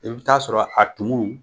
I bɛ t'a sɔrɔ a tumu